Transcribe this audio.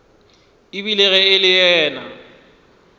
ebile ge e le yena